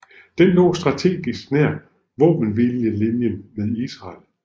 Den lå strategisk nær våbenhvilelinjen med Israel